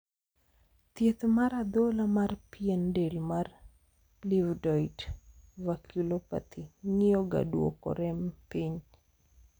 thieth mar adhola mar pien del mar livedoid vasculopathy ng'iyo ga duoko rem piny